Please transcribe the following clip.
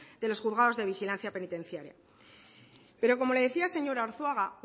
de los juzgados de vigilancia penitenciaria pero como le decía señor arzuaga